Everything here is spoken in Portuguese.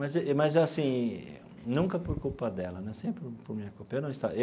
Mas e mas, assim, nunca por culpa dela né, sempre por minha culpa eu não estava.